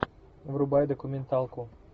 врубай документалку